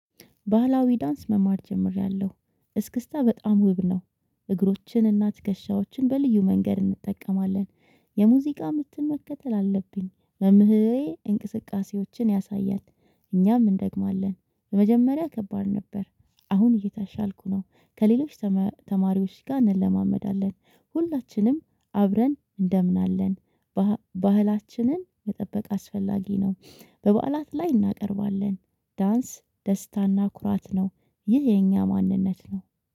ባህላዊ ዳንስ መማር ጀምሬያለሁ እስክስታ በጣም ውብ ነው። እግሮችን እና ትከሻዎችን በልዩ መንገድ እንጠቀማለን። የሙዚቃ ምትን መከተል አለብኝ መምህሬ እንቅስቃሴዎችን ያሳያል። እኛም እንደግማለን ለመጀመሪያ ከባድ ነበር። አሁን እየተሻልኩ ነው ከሌሎች ተማሪዎች ጋር እንለማመዳለን። ሁላችንም አብረን እንደምን አለን። ባህላችንን መጠበቅ አስፈላጊ ነው። በበዓላት ላይ እናቀርባለን። ዳንስ ደስታና ኩራት ነው። ይህ የኛ ማንነት ነው።